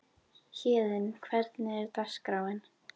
Héðinn, hvernig er dagskráin?